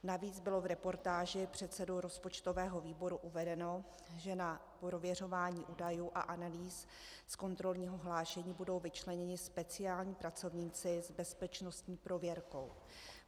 Navíc bylo v reportáži předsedou rozpočtového výboru uvedeno, že na prověřování údajů a analýz z kontrolního hlášení budou vyčleněni speciální pracovníci s bezpečnostní prověrkou.